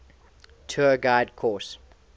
tour guide course